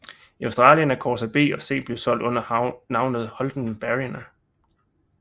I Australien er Corsa B og C blevet solgt under navnet Holden Barina